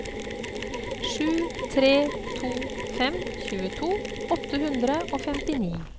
sju tre to fem tjueto åtte hundre og femtini